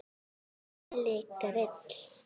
Hver er Elli Grill?